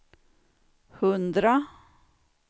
hundra